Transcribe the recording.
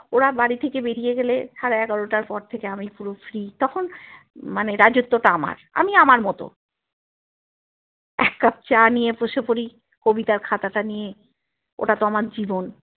ওরা বাড়ি থেকে বেরিয়ে গেলে সাড়ে এগারোটার পর থেকে আমি পুরো free তখন মানে রাজত্ব টা আমার আমি আমার মতো এক কাপ চা নিয়ে বসে পড়ি কবিতার খাতাটা নিয়ে ওটাতো আমার জীবন